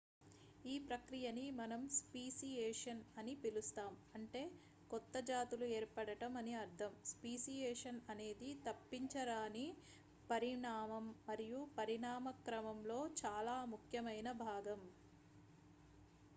ఈ ప్రక్రియని మనం స్పీసియేషన్ అని పిలుస్తాం అంటే కొత్త జాతులు ఏర్పడటం అని అర్థం స్పీసియేషన్ అనేది తప్పించరాని పరిణామం మరియు పరిణామక్రమంలో చాలా ముఖ్యమైన భాగం